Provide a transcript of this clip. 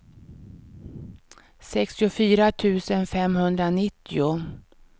sextiofyra tusen femhundranittio